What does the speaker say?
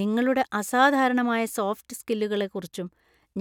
നിങ്ങളുടെ അസാധാരണമായ സോഫ്റ്റ് സ്‌കില്ലുകളെക്കുറിച്ചും